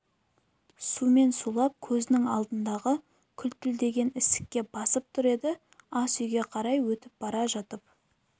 сумен сулап көзінің алдындағы күлтілдеген ісікке басып тұр еді ас үйге қарай өтіп бара жатып